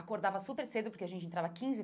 Acordava super cedo, porque a gente entrava quinze.